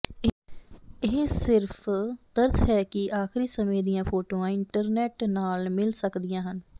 ਇਹ ਸਿਰਫ ਤਰਸ ਹੈ ਕਿ ਆਖਰੀ ਸਮੇਂ ਦੀਆਂ ਫੋਟੋਆਂ ਇੰਟਰਨੈੱਟ ਨਾਲ ਮਿਲ ਸਕਦੀਆਂ ਹਨ